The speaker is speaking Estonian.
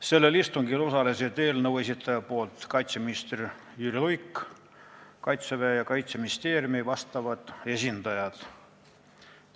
Sellel istungil osalesid eelnõu esitaja nimel kaitseminister Jüri Luik ning Kaitseväe ja Kaitseministeeriumi vastavad esindajad.